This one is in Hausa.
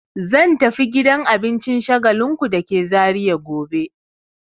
Zan tafi gidan abincin Shagalinku da ke Zariya gobe.